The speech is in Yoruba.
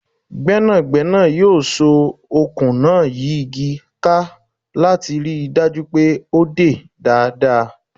Gbẹ́nàgbẹ́nà yóò so okùn náà yí igi ká láti ríi dájú pé o dè dáadáa.